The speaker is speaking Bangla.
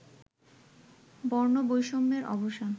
বর্ণবৈষম্যের অবসান